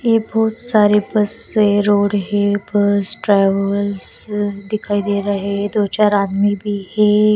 ये बहुत सारे बस है रोड है बस ट्रैवल्स दिखाई दे रहा है दो-चार आदमी भी है।